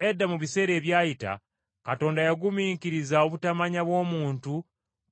Edda mu biseera ebyayita Katonda yagumiikiriza obutamanya bw’omuntu